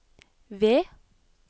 V